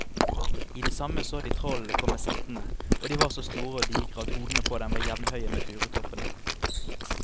I det samme så de trollene komme settende, og de var så store og digre at hodene på dem var jevnhøye med furutoppene.